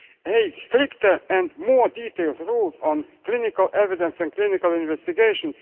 eighth, stricter and more detailed rules on clinical evidence and clinical investigation